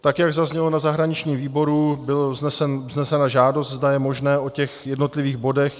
Tak jak zaznělo na zahraničním výboru, byla vznesena žádost, zda je možné o těch jednotlivých bodech